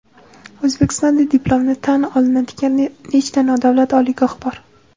O‘zbekistonda diplomi tan olinadigan nechta nodavlat oliygoh bor?.